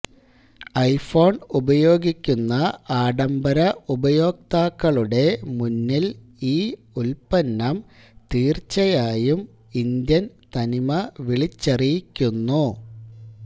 iPhone ഉപയോഗിക്കുന്ന ആഢംബര ഉപയോക്താക്കളുടെ മുന്നില് ഈ ഉല്പ്പന്നം തീര്ച്ചയായും ഇന്ത്യന് തനിമ വിളിച്ചറിയിക്കുന്നു